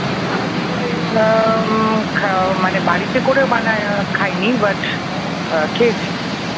না মানে বাড়িতে করে বানিয়ে খাই নি but, খেয়েছি।